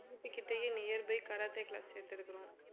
வீட்டு கிட்டயே nearby karate class சேர்த்திருக்கிறோம்